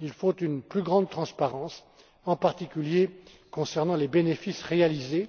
Il faut une plus grande transparence, en particulier concernant les bénéfices réalisés,